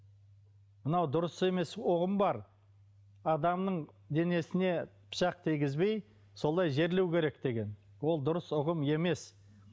мынау дұрыс емес ұғым бар адамның денесіне пышақ тигізбей солай жерлеу керек деген ол дұрыс ұғым емес